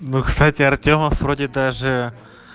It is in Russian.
ну кстати артёмов вроде даже